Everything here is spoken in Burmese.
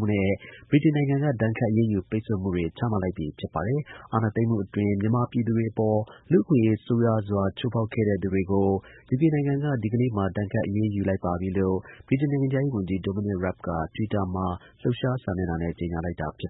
ှုနဲ့ ဗြိတိန်နိုင်ငံက ဒဏ်ခတ် အရေးယူ ပိတ်ဆို့မှုတွေ ချမှတ်လိုက်ပြီ ဖြစ်ပါတယ်။ အာဏာသိမ်းမှုအတွင်း မြန်မာပြည်သူတွေ အပေါ် လူ့အခွင့်အရေး ဆိုးရွားစွာ ချိုးဖောက်ခဲ့တဲ့ သူတွေကို ယူကေနိုင်ငံက ဒီကနေ့မှာ ဒဏ်ခတ် အရေးယူလိုက်ပါပြီလို့ ဗြိတိန် နိုင်ငံခြားရေးဝန်ကြီး Dominic Raab က တွစ်တာမှာလှုပ်ရှားစာမျက်နှာနဲ့ ကြေညာလိုက်တာပါ။